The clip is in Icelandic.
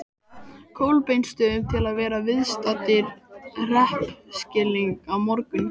Kolbeinsstöðum til að verða viðstaddir hreppskilin á morgun.